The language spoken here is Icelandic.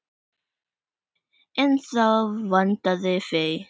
En þá vantaði fé.